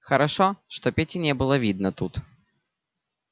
хорошо что пети не было видно тут